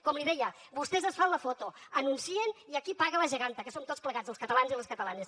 com li deia vostès es fan la foto anuncien i aquí paga la geganta que som tots plegats els catalans i les catalanes